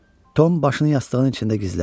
Tom başını yastığının içində gizlətdi.